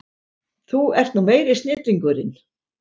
Þú ert nú meiri snillingurinn!